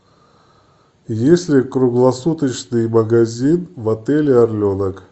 есть ли круглосуточный магазин в отеле орленок